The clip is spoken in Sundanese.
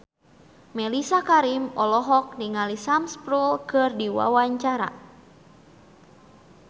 Mellisa Karim olohok ningali Sam Spruell keur diwawancara